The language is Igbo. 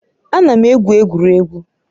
Ana m egwu egwuregwu